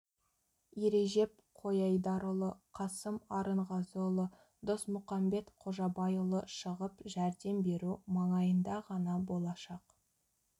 ережеп қойайдарұлы қасым арынғазыұлы досмұқамбет қожабайұлы шығып жәрдем беру маңайында ғана болашақ